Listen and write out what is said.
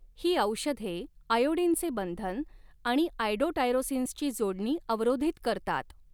ही औषधे आयोडीनचे बंधन आणि आयडोटायरोसिन्सची जोडणी अवरोधित करतात.